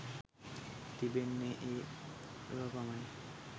තිබෙන්නේ ඒ වැව පමණි.